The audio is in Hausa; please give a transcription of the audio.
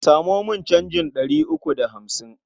Samo min canjin ɗari uku da hamsin.